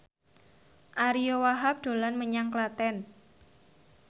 Ariyo Wahab dolan menyang Klaten